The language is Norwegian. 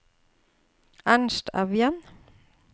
Ernst Evjen